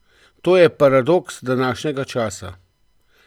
To je paradoks današnjega časa!